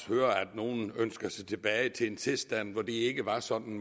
høre at nogle ønsker sig tilbage til en tilstand hvor det ikke var sådan